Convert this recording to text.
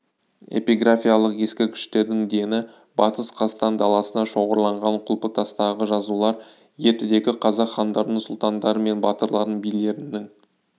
эпиграфиялық ескерткіштердің дені батыс қазақстан даласында шоғырланған құлпытастағы жазулар ертедегі қазақ хандарының сұлтандары мен батырларының билерінің